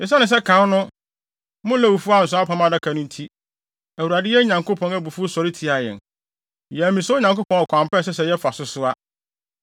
Esiane sɛ kan no mo Lewifo ansoa Apam Adaka no nti, Awurade, yɛn Nyankopɔn, abufuw sɔre tiaa yɛn. Yɛammisa Onyankopɔn ɔkwan pa a ɛsɛ sɛ yɛfa so soa.”